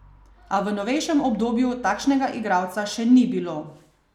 A v novejšem obdobju takšnega igralca še ni bilo.